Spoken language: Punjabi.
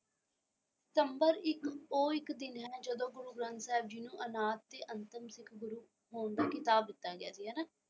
ਸਤੰਬਰ ਇੱਕ ਉਹ ਇੱਕ ਦਿਨ ਹੈ ਜਦੋਂ ਗੁਰੂ ਗਰੰਥ ਸਾਹਿਬ ਜੀ ਨੂੰ ਅਨਾਦਿ ਤੇ ਅੰਤਿਮ ਸਿੱਖ ਗੁਰੂ ਹੋਣ ਦਾ ਖਿਤਾਬ ਦਿੱਤਾ ਗਿਆ ਸੀ ਹੈਨਾ।